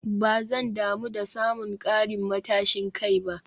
Ba zan damu da samun karin matashin kai ba